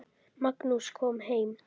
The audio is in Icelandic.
Magnús kom heim.